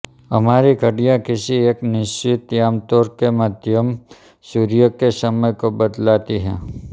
हमारी घड़ियाँ किसी एक निश्चित याम्योत्तर के मध्यम सूर्य के समय को बतलाती है